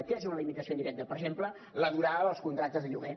què és una limitació indirecta per exemple la durada dels contractes de lloguer